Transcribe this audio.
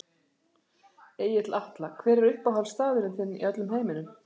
Egill Atla Hver er uppáhaldsstaðurinn þinn í öllum heiminum?